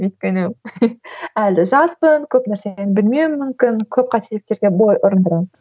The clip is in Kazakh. өйткені әлі жаспын көп нәрсені білмеуім мүмкін көп қателіктерге бой ұрындырамын